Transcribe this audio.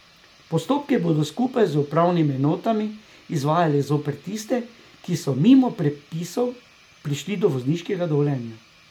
Postopke bodo skupaj z upravnimi enotami izvajali zoper tiste, ki so mimo predpisov prišli do vozniškega dovoljenja.